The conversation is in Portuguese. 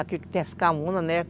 Aqui que tem as camunas, né?